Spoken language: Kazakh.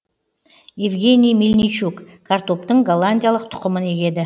евгений мельничук картоптың голландиялық тұқымын егеді